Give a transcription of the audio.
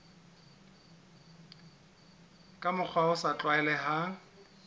ka mokgwa o sa tlwaelehang